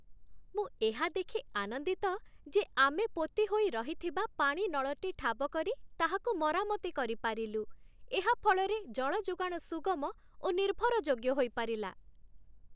ମୁଁ ଏହା ଦେଖି ଆନନ୍ଦିତ ଯେ ଆମେ ପୋତି ହୋଇ ରହିଥିବା ପାଣି ନଳଟି ଠାବ କରି ତାହାକୁ ମରାମତି କରିପାରିଲୁ, ଏହା ଫଳରେ ଜଳ ଯୋଗାଣ ସୁଗମ ଓ ନିର୍ଭର ଯୋଗ୍ୟ ହୋଇପାରିଲା।